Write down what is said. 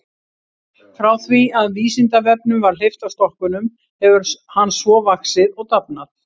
Frá því að Vísindavefnum var hleypt af stokkunum hefur hann svo vaxið og dafnað.